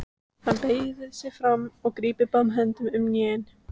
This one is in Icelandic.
Hann beygir sig fram og grípur báðum höndum um hnén.